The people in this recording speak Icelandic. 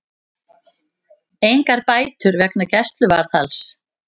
Engar bætur vegna gæsluvarðhalds